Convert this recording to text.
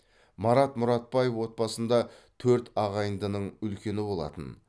марат мұратбаев отбасында төрт ағайындының үлкені болатын